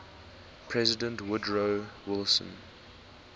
president woodrow wilson